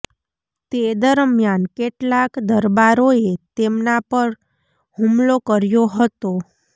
તે દરમિયાન કેટલાક દરબારોએ તેમના પર હુમલો કર્યો હતો